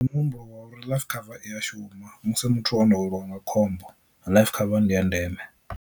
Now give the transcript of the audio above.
Ndi muhumbulo wa uri life cover iya shuma musi muthu o no weliwa nga khombo life cover ndi ya ndeme.